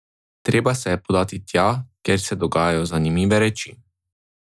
Treba se je podati tja, kjer se dogajajo zanimive reči.